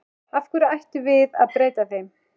Af hverju ættum við að breyta þeim?